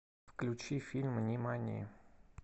включи фильм нимани